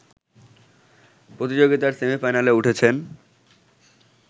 প্রতিযোগিতার সেমিফাইনালে উঠেছেন